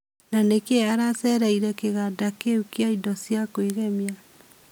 Na nĩkĩĩ acereĩre kĩganda kĩũ kĩa Indo cĩa kwĩgemĩa?